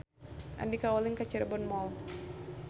Andika ulin ka Cirebon Mall